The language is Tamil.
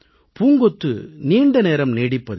பூங்கொத்து நீண்டநேரம் நீடிப்பதில்லை